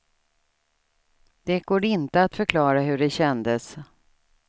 Det går inte att förklara hur det kändes.